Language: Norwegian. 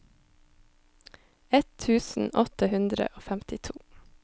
ett tusen åtte hundre og femtito